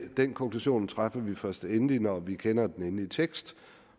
den konklusion træffer vi først endeligt når vi kender den endelige tekst